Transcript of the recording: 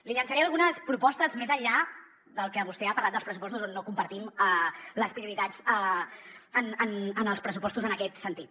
li llançaré algunes propostes més enllà del que vostè ha parlat dels pressupostos on no compartim les prioritats en els pressupostos en aquest sentit